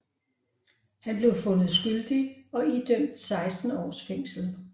Han blev fundet skyldig og idømt 16 års fængsel